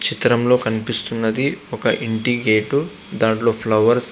ఈ చిత్రంలో కనిపిస్తున్నది ఒక ఇంటి గేట్ దాంట్లో ఫ్లవర్స్ --